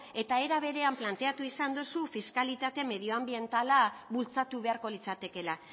eta era berean planteatu izan dozu fiskalitate medioanbientala bultzatu beharko litzatekela